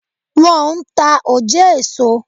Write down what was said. Wọn n ta òjé èso